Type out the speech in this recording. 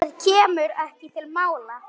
Það kemur ekki til mála.